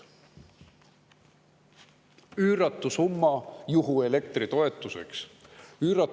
Üüratu summa juhuelektri toetuseks!